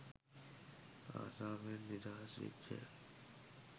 අසාවෙන් නිදහස් වෙච්ච